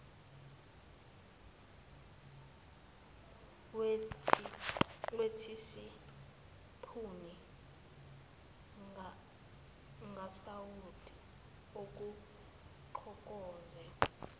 wethisipuni kasawoti kugoqoze